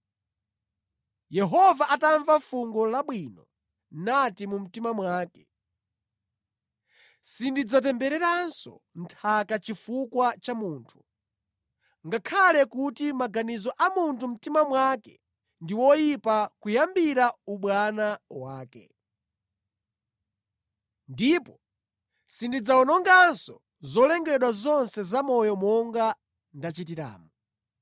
Yehova atamva fungo labwino anati mu mtima mwake: “Sindidzatembereranso nthaka chifukwa cha munthu, ngakhale kuti maganizo a mu mtima mwake ndi oyipa kuyambira ubwana wake. Ndipo sindidzawononganso zolengedwa zonse zamoyo monga ndachitiramu.